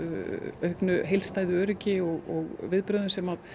auknu heildstæðu öryggi og viðbrögðum sem